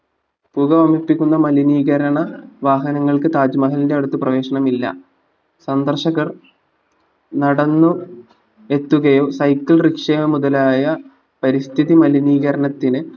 പുകവമിപ്പിക്കുന്ന മലിനീകരണ വാഹനങ്ങൾക്ക് താജ്മഹലിന്റെ അടുത്ത് പ്രവേശനം ഇല്ല സന്ദർശകർ നടന്ന് എത്തുകയോ cycle rickshaw മുതലായ പരിസ്ഥിതി മലിനീകരണത്തിന്